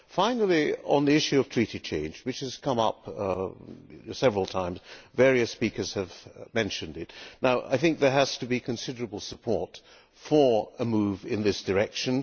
Finally, on the issue of treaty change, which has come up several times various speakers have mentioned it there has to be considerable support for a move in this direction.